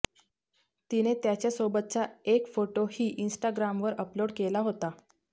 तिने त्याच्यासोबतचा एक फोटोही इन्स्टाग्रामवर अपलोड केला होता